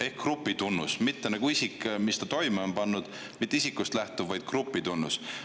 Ehk grupitunnus, mitte nagu isik ja see, mis ta toime on pannud, mitte isikust lähtuv, vaid grupitunnus.